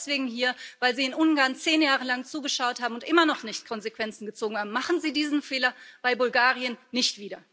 Wir sind auch deswegen hier, weil Sie in Ungarn zehn Jahre lang zugeschaut haben und immer noch nicht Konsequenzen gezogen haben. Machen Sie diesen Fehler bei Bulgarien nicht wieder!